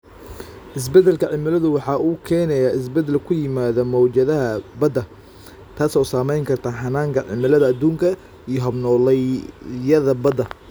Isbeddelka cimiladu waxa uu keenayaa isbeddel ku yimaadda mawjadaha badda, taas oo saamayn karta hannaanka cimilada adduunka iyo hab-nololeedyada badda.